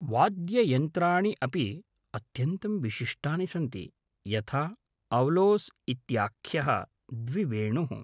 वाद्ययन्त्राणि अपि अत्यन्तं विशिष्टानि सन्ति, यथा औलोस् इत्याख्यः द्विवेणुः।